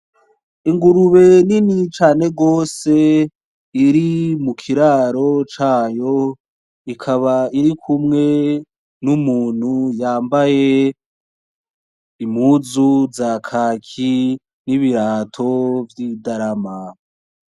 Ingurube nini cane gose iri mu kiraro cayo ikaba iri kumwe n’Umuntu yambaye impuzu za kaki nibirato vy’idarama.